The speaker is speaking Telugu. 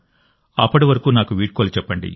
అప్పటి వరకు నాకు వీడ్కోలు చెప్పండి